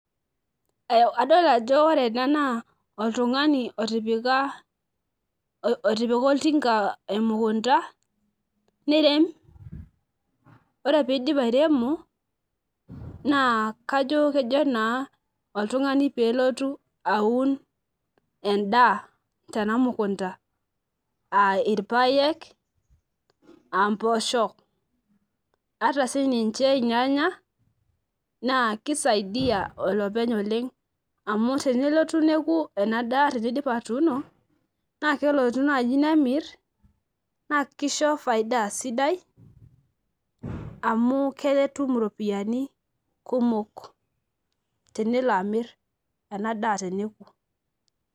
adol ajo ore ena naa oltungani oytipika oltinka emukunta nirem, ore pee eidip airemo naa kajo kejo naa ooltungani pee elotu aun edaa tena mukunta, aa irpaek aa mpoosho, ata sii ninche irnyanya, naa kisaidia olopeny oleng. amu tenelotu neku ena daateneidip atuuno. naa kelotu naaji nemir.na kisho faida sidai, amu ketum iropiyiai kumok. tenelo amir ena daa teneku.